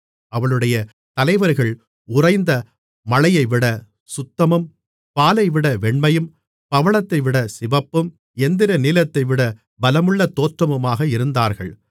அவளுடைய தலைவர்கள் உறைந்த மழையைவிட சுத்தமும் பாலைவிட வெண்மையும் பவளத்தைவிட சிவப்பும் இந்திரநீலத்தைவிட பலமுள்ள தோற்றமுமாக இருந்தார்கள்